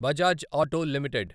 Bajaj auto limited